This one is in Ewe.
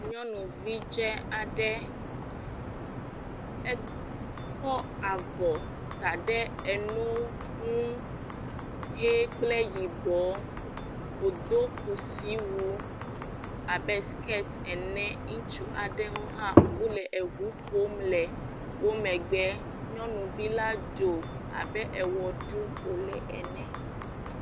Nyɔnuvi dzɛ aɖe, ekɔ avɔ ta ɖe eno ŋu, ɣee kple yibɔ, wò do kusi wu abe siketi ene, ŋutsu aɖewo hã, o le eʋu ƒom le o megbe, nyɔnuvi la dzo abe ewɔ ɖum o le ene.